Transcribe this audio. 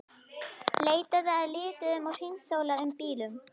Leitað að lituðum að hringsóla um í bílum.